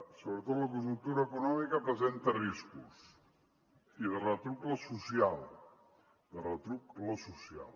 sobretot la conjuntura econòmica presenta riscos i de retruc la social de retruc la social